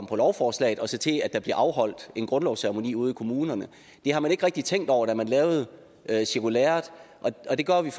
på lovforslaget og så til at der bliver afholdt en grundlovsceremoni ude i kommunerne det har man ikke rigtig tænkt over da man lavede cirkulæret og det gør at vi